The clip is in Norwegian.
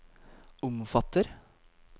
omfatter